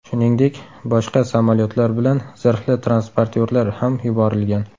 Shuningdek, boshqa samolyotlar bilan zirhli transportyorlar ham yuborilgan.